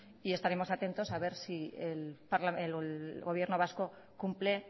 y estaremos atentos a ver si el gobierno vasco cumple